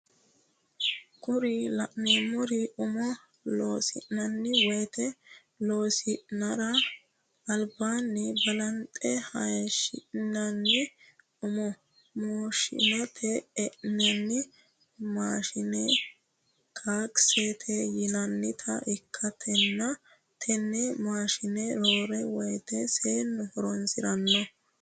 Kuri la'neemori umo loosi'nani woyiite losi'nara albaani balanxe hayiishi'nooni umo mooshirate e'nanni maashine kaksete yinanita ikkitanna tene maashine roore woyiite seenu horonsiranno